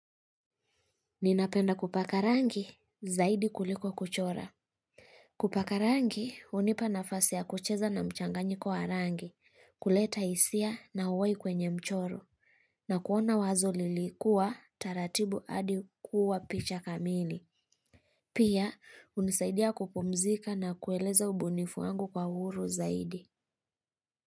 Ninapenda kupaka rangi zaidi kuliko kuchora. Kupaka rangi, hunipa nafasi ya kucheza na mchanganyiko wa rangi, kuleta hisia na uhai kwenye mchoro, na kuona wazo lilikua, taratibu hadi kuwa picha kamili. Pia, hunisaidia kupumzika na kueleza ubunifu wangu kwa uhuru zaidi.